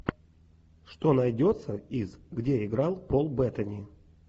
что найдется из где играл пол беттани